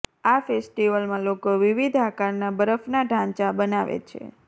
આ ફેસ્ટીવલમાં લોકો વિવિધ આકારના બરફના ઢાંચા બનાવે છે